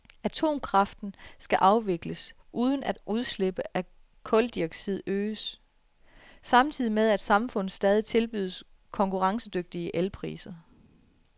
Atomkraften skal afvikles, uden at udslippet af kuldioxid øges, samtidig med at samfundet stadig tilbydes konkurrencedygtige elpriser.